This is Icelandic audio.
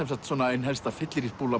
ein helsta